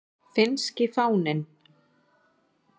Finnski fáninn.